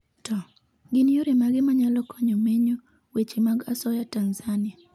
to, gin yore mage manyalo konyo menyo weche mag asoya Tanzania?